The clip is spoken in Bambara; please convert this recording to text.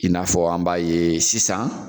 I n'a fɔ an b'a ye sisan